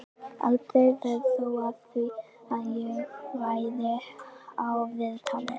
Aldrei varð þó af því að ég færi í viðtalið.